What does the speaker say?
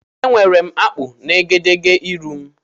Enwere m akpụ na egedegeihū m.